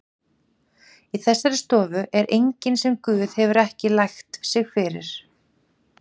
Í þessari stofu er enginn sem Guð hefur ekki lægt sig fyrir.